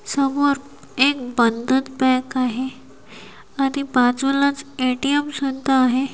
समोर एक बंधन बँक आहे आणि बाजूलाच ए_टी_एम सुद्धा आहे.